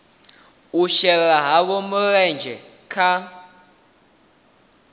u shela havho mulenzhe kha